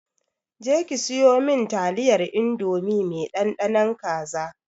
Je ki siyo min taliyar indomie mai ɗanɗanon kaza!